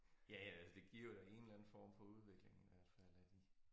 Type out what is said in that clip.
Ja ja det giver jo da en eller anden form for udvikling hvert fald af de